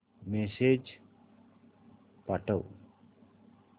message पाठव